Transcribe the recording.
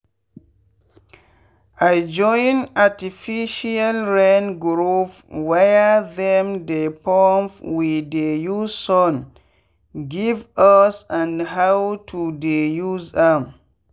i join artificial rain groupwhere them dey pump wey dey use sun give us and how to dey use am.